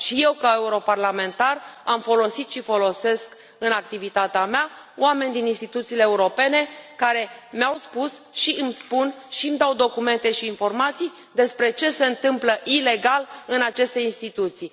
Și eu, ca europarlamentar, am folosit și folosesc în activitatea mea oameni din instituțiile europene care mi au spus și îmi spun și îmi dau documente și informații despre ce se întâmplă ilegal în aceste instituții.